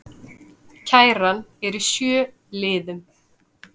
Kæran er í sjö liðum